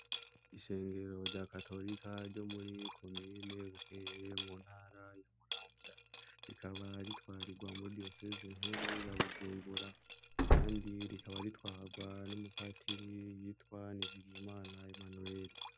Ishengero rya katorka ryo muri komine Bukeye mu ntara ya Muramvya, rikaba ritwarirwa muri diyoseze nkuru ya Bujungura. Kandi rikaba ritwarwa n'umupatiri yitwa Nizigiyimana Emmanuel.